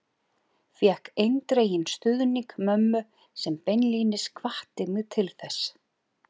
Fékk eindreginn stuðning mömmu sem beinlínis hvatti mig til þess.